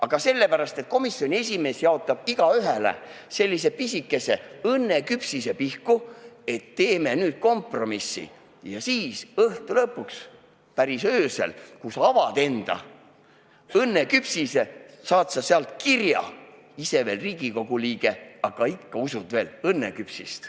" Aga sellepärast, et komisjoni esimees jaotab igaühele pisikese õnneküpsise pihku, et teeme nüüd kompromissi, ja siis õhtu lõpuks, päris öösel, kui sa avad enda õnneküpsise, sa leiad sealt kirja "Ise Riigikogu liige, aga ikka usud veel õnneküpsist".